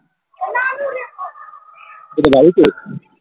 কোথায় বাড়িতে?